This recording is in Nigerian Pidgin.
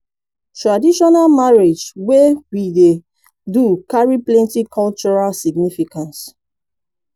traditional marriage wey we dey do carry plenty cultural significance